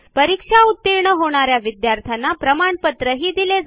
परीक्षा उतीर्ण होणा या विद्यार्थ्यांना प्रमाणपत्रही दिले जाते